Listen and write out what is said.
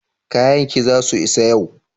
kayakin za su isa yau?